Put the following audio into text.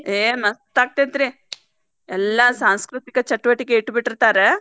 ಏ ಮಸ್ತ್ ಆಗ್ತಿತ್ತ್ರಿ ಎಲ್ಲಾ ಸಾಂಸೃತಿಕ ಚಟುವಟಿಕೆ ಇಟ್ಟ ಬಿಟ್ಟಿರ್ತಾರೆ.